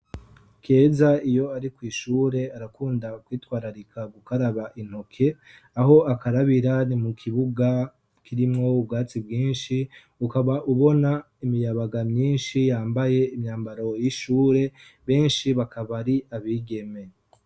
Keza iyo ari kw'ishure arakunda kwitwararika gukaraba intoke aho akarabira ni mu kibuga kirimwo ubwatsi bwinshi ukaba ubona imiyabaga myinshi yambaye imyambaro y'ishure benshi bakaba ari abigeme.